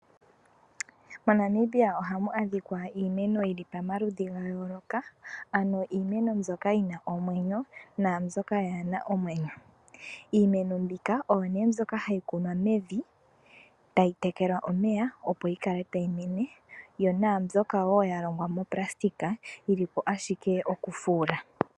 Mo Namibia ohamu adhika iimeno yili pomaludhi ga yooloka ano iimeno mbyoka yina omwenyo nambyoka kayina omwenyo. Iimeno mbika oyo ne mbyoka hayi kunwa mevi tayi tekelwa omeya opo yi kale tayi mene. Yo nambyoka wo ya longwa monayilona yili po ashike okufuula.